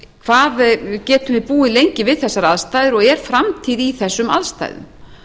hvað getum við búið lengi við þessar aðstæður og er framtíð í þessum aðstæðum